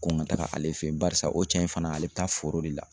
Ko n ka taga ale fɛ yen barisa o cɛn in fana ale bɛ taa foro de la